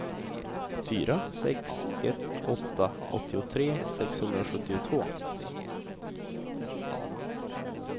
fyra sex ett åtta åttiotre sexhundrasjuttiotvå